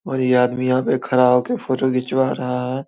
और ये आदमी यहाँ पे खड़ा होके फोटो खिचवा रहा --